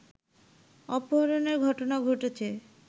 অপহরণের ঘটনা ঘটছে